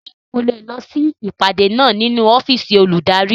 Ṣé ẹ ó lọ sí ìpàdé náà nínú ọ́fìsì olùdarí